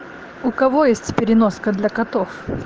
у кого есть переноска для котов